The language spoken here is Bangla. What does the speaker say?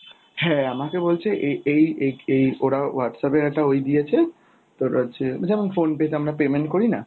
হ্যাঁ আমাকে বলছে এ~ এই এ~ এই ওরা Whatsapp এর একটা ওই দিয়েছে তোর হচ্ছে যেমন phone pay তে আমরা payment করি না।